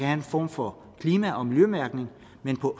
en form for klima og miljømærkning men på